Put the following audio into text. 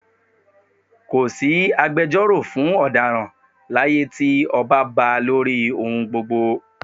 Ko sí agbejọ́rò fún ọ̀daràn láyé tí ọba ba lórí ohun gbogbo